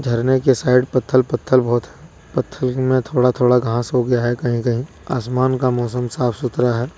झरने के साइड पत्थल पत्थल बहुत पत्थल मे थोड़ा थोड़ा घास हो गया है कहीं कहीं आसमान का मौसम साफ सुथरा है।